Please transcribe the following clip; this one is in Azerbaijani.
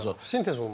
Sintez olmalıdır.